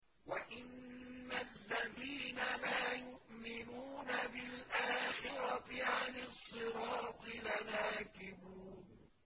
وَإِنَّ الَّذِينَ لَا يُؤْمِنُونَ بِالْآخِرَةِ عَنِ الصِّرَاطِ لَنَاكِبُونَ